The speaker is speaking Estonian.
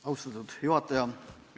Austatud juhataja!